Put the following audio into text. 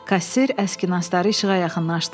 Kassir əski nastları işığa yaxınlaşdırdı.